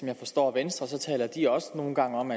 jeg forstår venstre taler de også nogle gange om